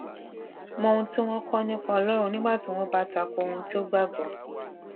mó ohun tí wón ń kó ọ nípa ọlórun nígbà tí wón bá ta ko ohun tó gbà gbó